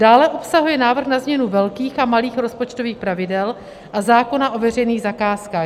Dále obsahuje návrh na změnu velkých a malých rozpočtových pravidel a zákona o veřejných zakázkách.